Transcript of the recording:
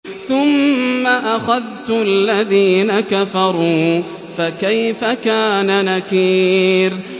ثُمَّ أَخَذْتُ الَّذِينَ كَفَرُوا ۖ فَكَيْفَ كَانَ نَكِيرِ